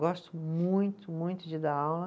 Gosto muito, muito de dar aula.